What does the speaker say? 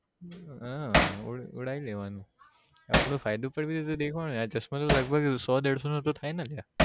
હહ ઉડા ઉડાઈ લેવાનું આપડો ફાયદો પણ દેખો ને આ ચશ્માં તો લગભગ સો ડેડેસો ના થાય ને અલ્યા